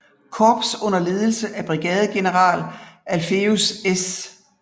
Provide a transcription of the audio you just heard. Korps under ledelse af brigadegeneral Alpheus S